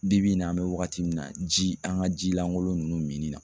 Bibi in na an bɛ wagati min na ji an ka ji lankolon ninnu minni na